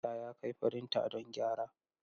Musa ya kai firinta don gyara.